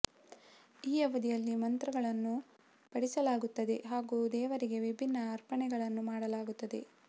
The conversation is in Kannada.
ಈ ಅವಧಿಯಲ್ಲಿ ಮಂತ್ರಗಳನ್ನು ಪಠಿಸಲಾಗುತ್ತದೆ ಹಾಗೂ ದೇವರಿಗೆ ವಿಭಿನ್ನ ಅರ್ಪಣೆಗಳನ್ನು ಮಾಡಲಾಗುತ್ತದೆ